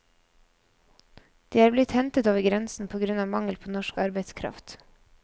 De er blitt hentet over grensen på grunn av mangel på norsk arbeidskraft.